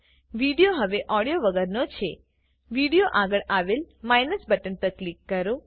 video હવે audio વગરનો છે વિડીઓ આગળ આવેલ માઇનસ બટન પર ક્લિક કરો